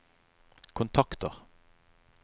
kontakter